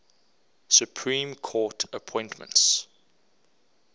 supreme court appointments